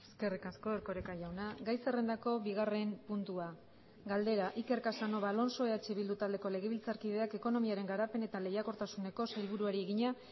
eskerrik asko erkoreka jauna gai zerrendako bigarren puntua galdera iker casanova alonso eh bildu taldeko legebiltzarkideak ekonomiaren garapen eta lehiakortasuneko sailburuari egina